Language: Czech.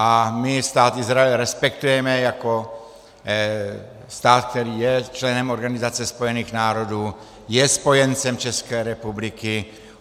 A my Stát Izrael respektujeme jako stát, který je členem Organizace spojených národů, je spojencem České republiky.